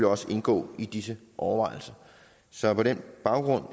også indgå i disse overvejelser så på den baggrund